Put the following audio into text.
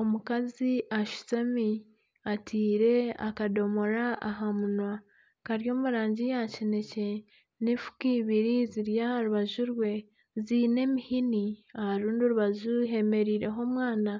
Omukazi ashutami ataire akadomora aha munwa kari omu rangi ya kinekye n'efuuka eibiri ziri aha rubaju rwe ziine emihini aha rundi orubaju hemereireho omwana